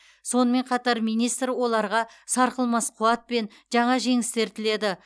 сонымен қатар министр оларға сарқылмас қуат пен жаңа жеңістер тіледі